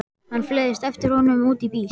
Hann fleygist eftir honum út í bíl.